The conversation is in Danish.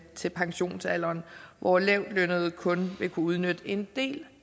til pensionsalderen hvor lavtlønnede kun vil kunne udnytte en del